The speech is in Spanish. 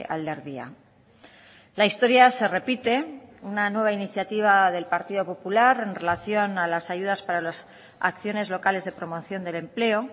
alderdia la historia se repite una nueva iniciativa del partido popular en relación a las ayudas para las acciones locales de promoción del empleo